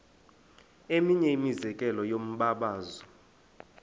eminye imizekelo yombabazo